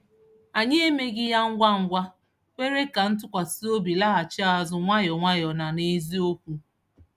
Anyị emeghị ya ngwa ngwa, kwere ka ntụkwasịobi laghachi azụ nwayọ nwayọ na n'eziokwu.